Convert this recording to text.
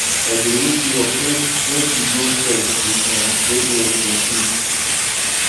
i dey wake you up make make you go stretch you um dey here dey sleep